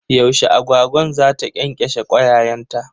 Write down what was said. Yaushe agwagwan za ta ƙyanƙyashe kwayayenta?